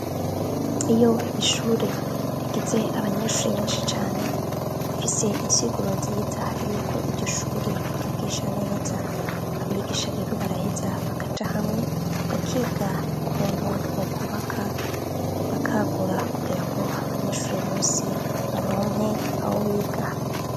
Iyo ishure rigize abanyeshuri benshi cane, bifise insiguro nziza yuko iryo shure ryigisha neza, abigisha rero baraheza bakaja hamwe bakiga ukuntu bo kubaka bakagura kugira ngo abanyeshuri bose baronke aho biga.